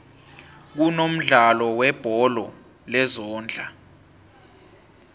kunomdlalo webholo lezondla